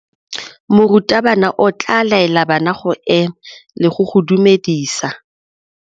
Morutabana o tla laela bana go ema le go go dumedisa.